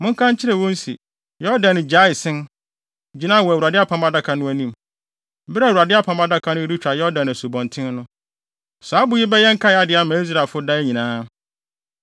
monka nkyerɛ wɔn se, Yordan gyaee sen, gyinae wɔ Awurade apam adaka no anim, bere a Awurade apam adaka no retwa Yordan asubɔnten no. Saa abo yi bɛyɛ nkae ade ama Israelfo daa nyinaa.”